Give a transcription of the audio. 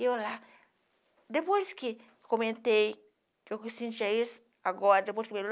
E eu lá, depois que comentei que eu sentia isso, agora, depois do